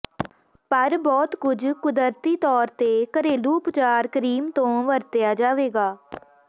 ਪਰ ਬਹੁਤ ਕੁਝ ਕੁਦਰਤੀ ਤੌਰ ਤੇ ਘਰੇਲੂ ਉਪਚਾਰ ਕ੍ਰੀਮ ਤੋਂ ਵਰਤਿਆ ਜਾਵੇਗਾ